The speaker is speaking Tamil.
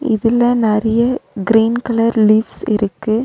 இதுல நெறைய கிரீன் கலர் லீவ்ஸ் இருக்கு.